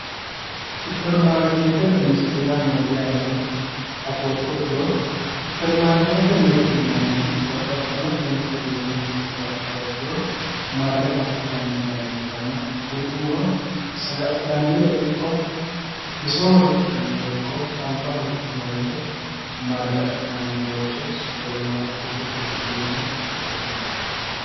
Superimaariketete mirte yaa mayatero afoottokiro, superimaariketete mirte babbaxino danni uduune hasi'nanniha ikkiro marre afi'nanni bayicho ikkanna kuriuuno saga'linannire ikko ,bissoho riqinannire ikko alibaho riqinannire ikko marre afi'nanni bayicho superimaariketete mirte yine woshshinanni